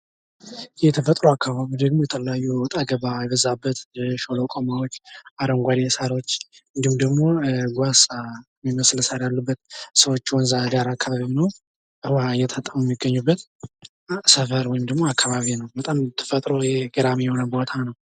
የተፈጥሮ አካባቢ ደግሞ የተለያዪ ወጣገባ የበዛበት ሸለቋማዎች፣ አረንጓዴ ሳሮች እንዲሁም ደግሞ ጓሳ ሚመስሉ ሳሮች ያሉበት ሰዎች ወንዝ ዳር አካባቢ ሆነው እየታጠቡ የሚገኙበት ሰፈር ወይም አካባቢ ነው። በጣም ተፈጥሮ ገራሚ የሆነ ቦታ ነው።